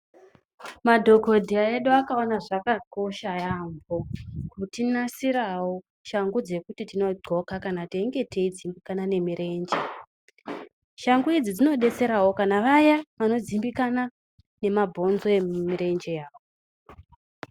Madhokodheya edu akaona zvakakosha yaambo kutinasirawo shangu dzekuti tinonga teidxoka kana tichinge teidzimbikane nemirenje. Shangu udzi dzinodetserawo kana vaya vanodzimbikana nemabhonzo emumirenje yavo.